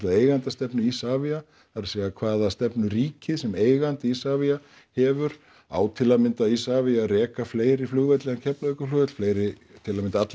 eigendastefnu Isavia það er hvaða stefnu ríkið sem eigandi Isavia hefur á til að mynda Isavia að reka fleiri flugvelli en Keflavíkurflugvöll fleiri til að mynda alla